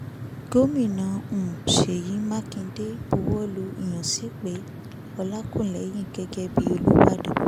gomina um sèyí mákindé buwọ́lu ìyànsípe ọlàkùnléyìn gẹ́gẹ́ bíi olùbàdàn